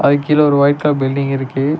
அதுக்கு கீழ ஒரு ஒயிட் கலர் பில்டிங் இருக்கு.